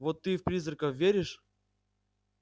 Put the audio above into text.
вот ты в призраков веришь